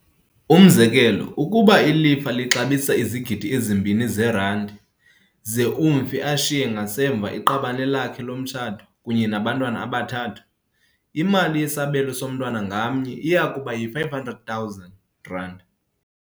Umzekelo, ukuba ilifa lixabisa izigidi ezimbini zeranti, ze umfi ashiye ngasemva iqabane lakhe lomtshato kunye nabantwana abathathu, imali yesabelo somntwana ngamnye iyakuba yi-R500 000.